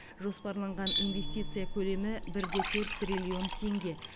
жоспарланған инвестиция көлемі бір де төрт триллион теңге